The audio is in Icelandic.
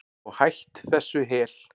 Og hætt þessu hel